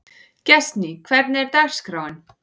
Gestný, hvernig er dagskráin?